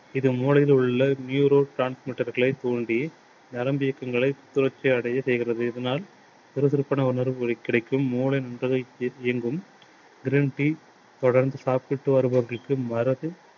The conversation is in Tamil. இது மூளையில் உள்ள neuro transmitter களை தூண்டி நரம்பு இயக்கங்களை சுழற்சி அடைய செய்கிறது. இதனால் சுறுசுறுப்பான உணர்வுகள் கிடைக்கும். மூளை நன்றாக இயங்கும். green tea தொடர்ந்து சாப்பிட்டு வருபவர்களுக்கு வாரத்தில்